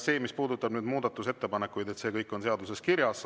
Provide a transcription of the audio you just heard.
See, mis puudutab muudatusettepanekuid, on kõik seaduses kirjas.